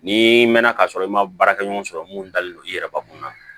Ni mɛnna ka sɔrɔ i ma baarakɛ ɲɔgɔn sɔrɔ mun dalen don i yɛrɛ bakun na